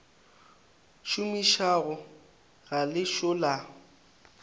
šomišago ga le ešo la